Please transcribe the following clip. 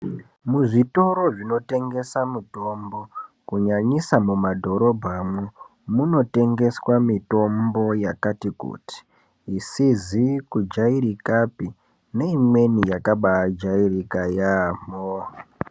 Muzvitoro zvinotengesa mitombo kunyanyisa mumadhorobhamwo munotengeswa mitombo yakati kuti isizi kujairikapi neimweni yakabajairika yambo.